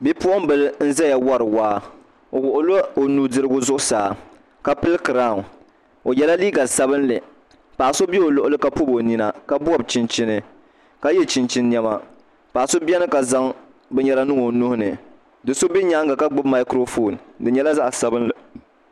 Bipuɣunbili n ʒɛya wori waa o wuɣila o nudirigu zuɣusaa ka pili kiraawn o yɛla liiga sabinli paɣa so bɛ o luɣuli ka pobi o ninaka yɛ chinchin niɛma paɣa so biɛni ka zaŋ binyɛra niŋ o nuhini do so bɛ nyaanga ka gbubi maikiro foon di nyɛla zaɣ sabinli